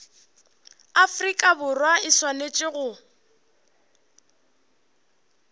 afrika borwa e swanetše go